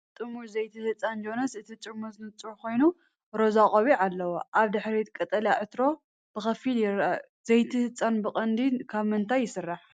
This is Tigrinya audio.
ጥርሙዝ ዘይቲ ህጻን ጆንሰን። እቲ ጥርሙዝ ንጹር ኮይኑ ሮዛ ቆቢዕ ኣለዎ። ኣብ ድሕሪት ቀጠልያ ዕትሮ ብኸፊል ይርአ። ዘይቲ ህጻናት ብቐንዱ ካብ ምንታይ ይስራሕ?